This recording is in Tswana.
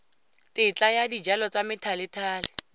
tetla ya dijalo tsa methalethale